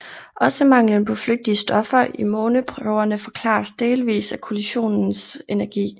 Også manglen på flygtige stoffer i måneprøverne forklares delvis af kollisionens energi